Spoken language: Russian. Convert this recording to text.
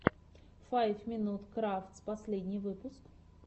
файв минут крафтс последний выпуск